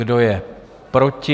Kdo je proti?